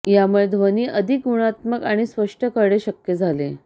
यामुळे ध्वनी अधिक गुणात्मक आणि स्पष्ट करणे शक्य झाले